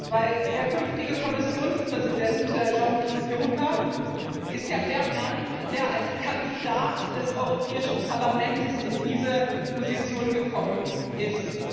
Wenn der künftige Kommissionspräsident Jean Claude Juncker ist ja der Mann, der als Kandidat des Europäischen Parlaments in diese Position gekommen ist.